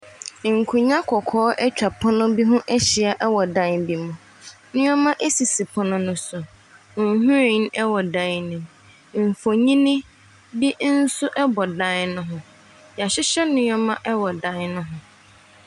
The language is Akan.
Nkonnwa kɔkɔɔ atwa pono bi ho ahyia wɔ dan bi mu. Nneɛma sisi pono no so. Nhwiren wɔ dan no mu. Mfonin bi nso bɔ dan no ho. Wɔahyehyɛ nneɛma wɔ dan no ho.